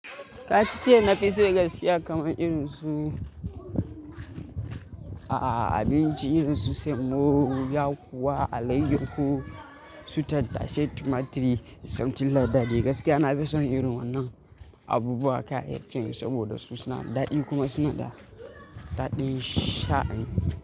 Ka ci ciya na fi so gaskiya kamar irin su a'a abinci irin su semo, yakuwa alayyahu, su tattasai, tumaturi, something like that gaskiya nafi son irin wannan abubuwa kayayyakin saboda su suna da daɗi kuma suna da daɗin sha'ani.